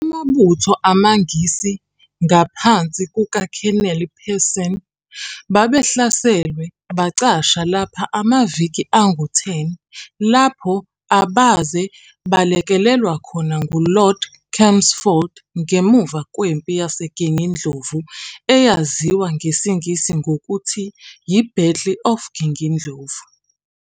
Amabutho amaNgisi, ngaphansi kukaKheneli-Pearson babehlaselwe bacasha lapho amaviki angu 10 lapho abaze balekelelwa khona ngu-Lord Chelmsford ngemuva kweMpi yaseGingindlovu eyaziwa ngesiNgisi ngokuthi yi-Battle of Gingindlovu.